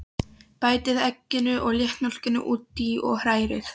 Bætið egginu og léttmjólkinni út í og hrærið.